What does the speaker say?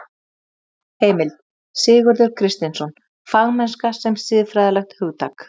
Heimild: Sigurður Kristinsson Fagmennska sem siðfræðilegt hugtak.